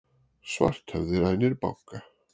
Svarthöfði rænir banka